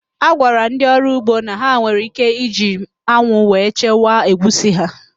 A gwara ndị ọrụ ugbo na ha nwere íké iji anwụ wee chekwaa egwusi ha